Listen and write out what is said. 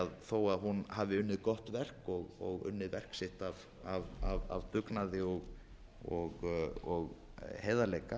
að þó að hún hafi unnið gott verk og unnið verk sitt af dugnaði og heiðarleika